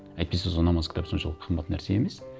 әйтпесе сол намаз кітап соншалық қымбат нәрсе емес